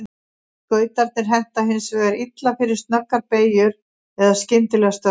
Skautarnir henta hins vegar illa fyrir snöggar beygjur eða skyndilega stöðvun.